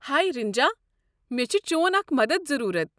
ہے رِنجا! مےٚ چھُ چون اكھ مدتھ ضروٗرت۔